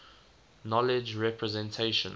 knowledge representation